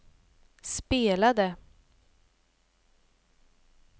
spelade